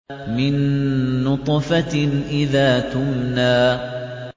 مِن نُّطْفَةٍ إِذَا تُمْنَىٰ